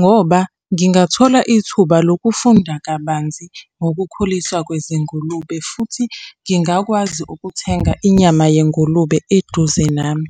ngoba ngingathola ithuba lokufunda kabanzi ngokukhuliswa kwezingulube, futhi ngingakwazi ukuthenga inyama yengulube eduze nami.